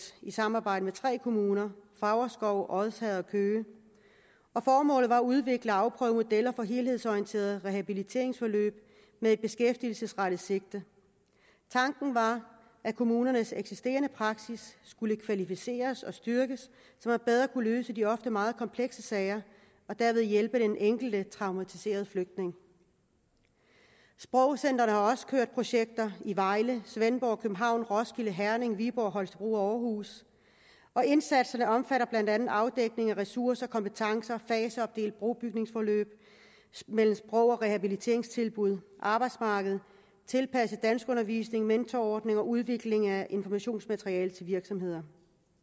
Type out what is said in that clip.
i samarbejde med tre kommuner favrskov odsherred og køge formålet var at udvikle og afprøve modeller for helhedsorienterede rehabiliteringsforløb med et beskæftigelsesrettet sigte tanken var at kommunernes eksisterende praksis skulle kvalificeres og styrkes så man bedre kunne løse de ofte meget komplekse sager og derved hjælpe den enkelte traumatiserede flygtning sprogcentrene har også kørt projekter i vejle svendborg københavn roskilde herning viborg holstebro og aarhus indsatserne omfatter blandt andet afdækning af ressourcer kompetencer og faseopdelt brobygningsforløb mellem sprogrehabiliteringstilbud og arbejdsmarked tilpasset danskundervisning mentorordninger og udvikling af informationsmateriale til virksomheder